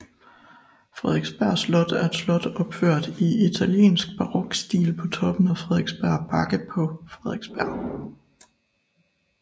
Frederiksberg Slot er et slot opført i italiensk barokstil på toppen af Frederiksberg Bakke på Frederiksberg